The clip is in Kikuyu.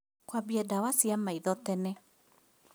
Kwambia ndawa cia maitho tene